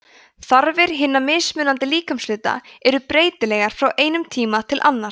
þarfir hinna mismunandi líkamshluta eru breytilegar frá einum tíma til annars